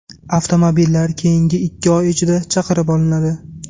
Avtomobillar keyingi ikki oy ichida chaqirib olinadi.